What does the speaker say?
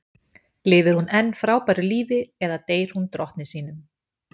Lifir hún enn frábæru lífi eða deyr hún drottni sínum?